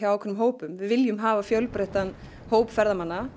ákveðnum hópum við viljum hafa fjölbreyttan hóp ferðamanna